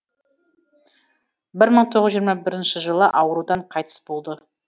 бір мың тоғыз жүз жиырма бірінші жылы аурудан қайтыс болады